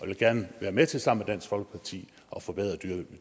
vil gerne være med til sammen med dansk folkeparti at forbedre